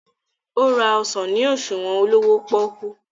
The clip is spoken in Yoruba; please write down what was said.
o rà ọsán ní òṣuwọn olówó poku.